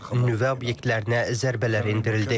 Nüvə obyektlərinə zərbələr endirildi.